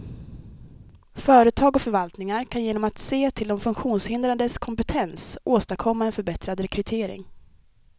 Företag och förvaltningar kan genom att se till de funktionshindrades kompetens åstadkomma en förbättrad rekrytering.